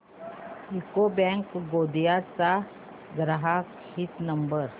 UCO bank Gondia चा ग्राहक हित नंबर